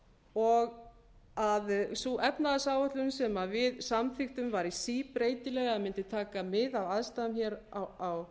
og að sú efnahagsáætlun sem við samþykktum væri síbreytileg eða mundi taka mið af aðstæðum hér á